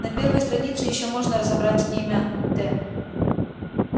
на первой странице ещё можно разобрать имя т